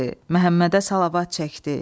Məhəmmədə salavat çəkdi.